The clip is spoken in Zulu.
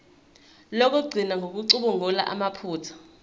lokugcina ngokucubungula amaphutha